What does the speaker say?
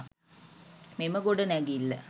මෙම ගොඩනැගිල්ල